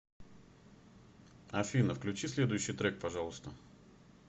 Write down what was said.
афина включи следующий трек пожалуйста